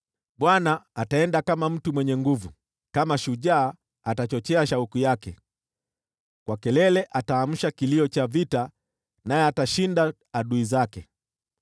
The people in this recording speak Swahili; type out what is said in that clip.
Bwana ataenda kama mtu mwenye nguvu, kama shujaa atachochea shauku yake, kwa kelele ataamsha kilio cha vita, naye atashinda adui zake.